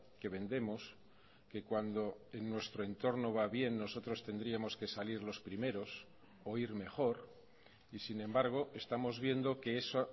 que vendemos que cuando en nuestro entorno va bien nosotros tendríamos que salir los primeros o ir mejor y sin embargo estamos viendo que eso